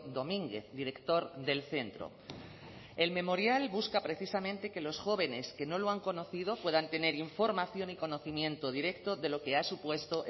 domínguez director del centro el memorial busca precisamente que los jóvenes que no lo han conocido puedan tener información y conocimiento directo de lo que ha supuesto